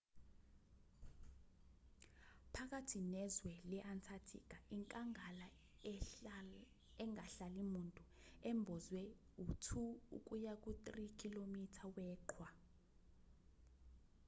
phakathi nezwe le-antarctica inkangala engahlali muntu embozwe u-2-3 km weqhwa